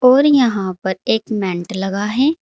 और यहां पर एक मेंट लगा है।